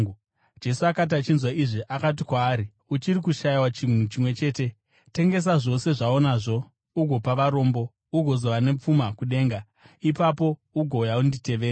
Jesu akati achinzwa izvi, akati kwaari, “Uchiri kushayiwa chinhu chimwe chete. Tengesa zvose zvaunazvo ugopa varombo, ugozova nepfuma kudenga. Ipapo, ugouya unditevere.”